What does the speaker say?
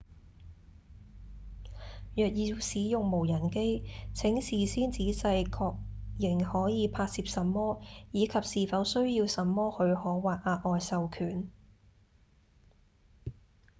若要使用無人機請事先仔細確認可以拍攝什麼以及是否需要什麼許可或額外授權